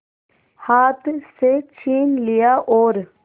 हाथ से छीन लिया और